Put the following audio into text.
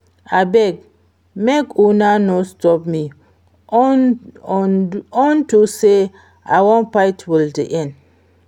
Abeg make una no stop me unto say I wan fight till the end